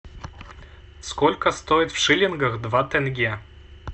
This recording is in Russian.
сколько стоит в шиллингах два тенге